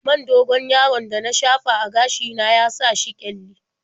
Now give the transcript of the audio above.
Man dogon-yaron da na shafa a gashi na ya sa shi ƙyalli.